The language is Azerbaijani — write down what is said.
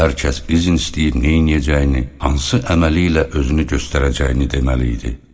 Hər kəs izin istəyir, neyləyəcəyini, hansı əməli ilə özünü göstərəcəyini deməli idi.